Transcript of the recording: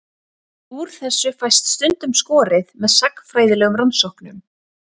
Úr þessu fæst stundum skorið með sagnfræðilegum rannsóknum.